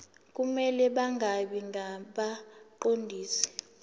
kumele bangabi ngabaqondisi